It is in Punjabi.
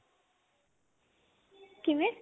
ਕਿਵੇਂ